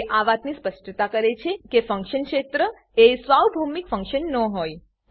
તે આ વાતની સ્પષ્ટતા કરે છે કે ફંક્શન ક્ષેત્ર એ સાર્વભૌમિક ફંક્શન ન હોય